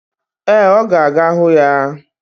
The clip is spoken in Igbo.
Ee, ọ ga-aga hụ ya.